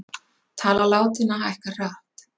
Tala látinna hækkar hratt